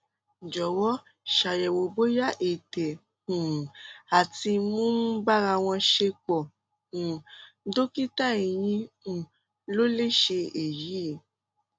jọwọ ṣàyẹwò bóyá ètè um àti imú ń bára wọn ṣepọ um dókítà eyín um ló lè ṣe èyí